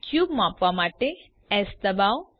cube માપવા માટે એસ ડબાઓ